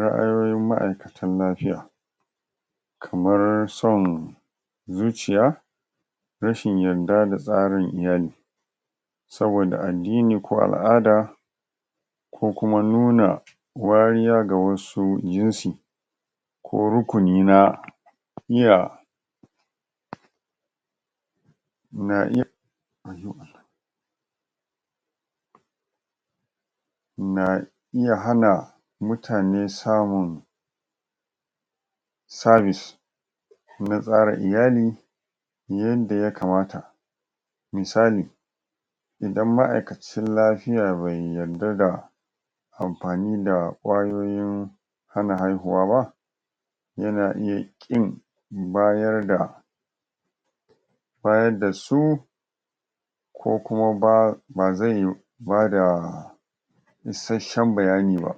ra'ayoyin ma'aikatan lafiya kamar son zuciya rashin yadda da tsarin iyali saboda addini ko al'ada ko kuma nuna wariya ga wasu jinsi ko rukuni na iya na iya na iya hana mutane samun sabis na tsara iyali yanda ya kamata misali idan ma'aikacin lafiya bai yadda da amfani da ƙwayoyin hana haihuwa ba yana iya ƙin bayarda bayadda su ko kuma ba bazai bada isashen bayani ba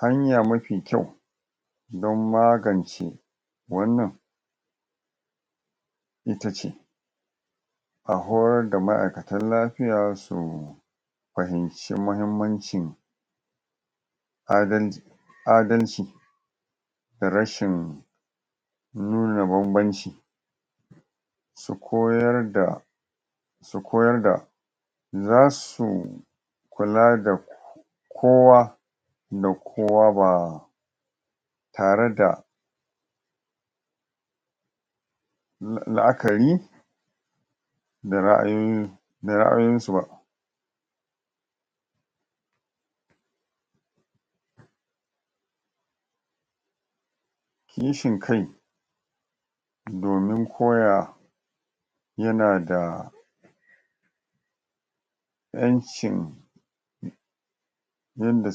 hanya mafi kyau don magance wannan itace a horar da ma'aikatan lafiya su fahimci mahimmancin adalci da rashin nuna banbanci su koyar da su koyar da zasu kula da kowa da kowa ba tare da la'akari da ra'ayoyi da ra'ayoyon su ba kishin kai domin koya yanada ƴancin yanda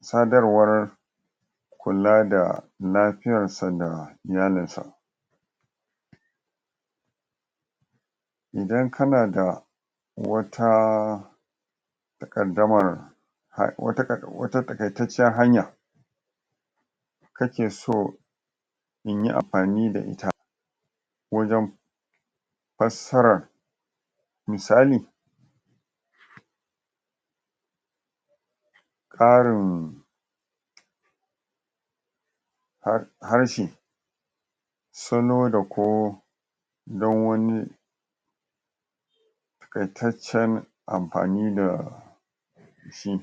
sadarwar kula da lafiyarsa da iyalin sa ida kanada wata taƙaddamar wata taƙaitacciyar hanya kakeso inyi amfani da ita wajen fassarar misali ƙarin harshe salo da ko don wani taƙaitaccen amfani da shi